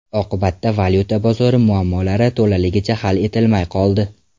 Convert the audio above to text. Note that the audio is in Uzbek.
Oqibatda valyuta bozori muammolari to‘laligicha hal etilmay qoldi.